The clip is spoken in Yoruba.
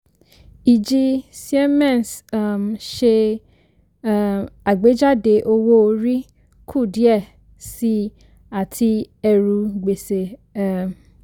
ìjì siemens um ṣe um àgbéjáde owó-orí kù díẹ̀ síi àti ẹrù gbèsè um